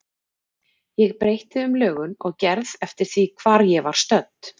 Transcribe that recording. Ég breytti um lögun og gerð eftir því hvar ég var stödd.